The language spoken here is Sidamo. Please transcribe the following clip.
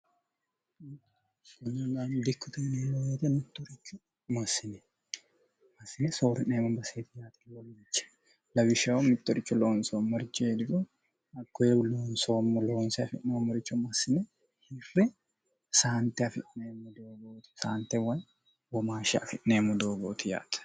konanaani dikkuteneemmohete muttorichu masine masine soori'neem maseet yatwoliche lawishshayu mittorichu loonsoommorichi heedigo aggoebu loonsoommo loonse afi'neommoricho masine hiffe saante afi'neemmo doogooti saante way womaanhshe afi'neemmo doogooti yaate